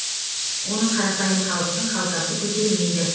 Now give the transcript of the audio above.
оны қарапайым халықтың қалтасы көтермейді